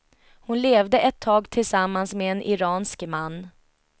Hon levde ett tag tillsammans med en iransk man.